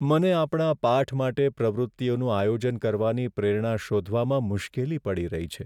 મને આપણા પાઠ માટે પ્રવૃત્તિઓનું આયોજન કરવાની પ્રેરણા શોધવામાં મુશ્કેલી પડી રહી છે.